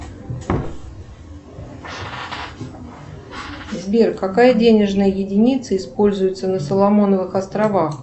сбер какая денежная единица используется на соломоновых островах